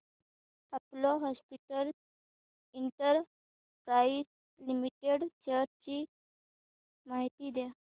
Apollo hospitals enterprise limited shares ची माहिती द्या